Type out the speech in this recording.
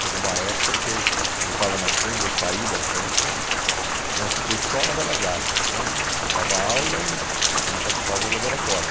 Chegou uma época que eu eu estava na Sempla, eu saí da Sempla né, eu fiquei só na Belas Artes né, dava aula e e participava do laboratório.